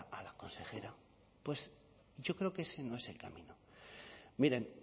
a la consejera yo creo que ese no es el camino miren